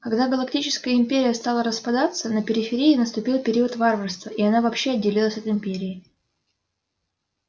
когда галактическая империя стала распадаться на периферии наступил период варварства и она вообще отделилась от империи